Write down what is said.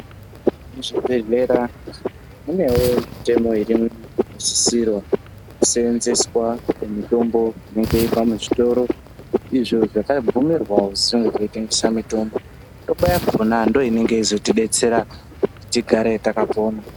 Muzvibhedhlera munewo mitemo irimwo inosisirwa kuseenzeswa pamitombo inowanikwa muzvitoro izvo zvakabvumirwa kuzi zvinge zveyitengese mitombo. Mitombo yakona ndoinozotibetsera kuti tigare takapona.